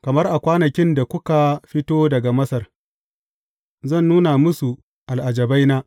Kamar a kwanakin da kuka fito daga Masar, zan nuna musu al’ajabaina.